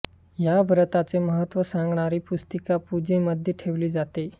या व्रताचे महत्त्व सांगणारी पुस्तिका पूजेमध्ये ठेवली जाते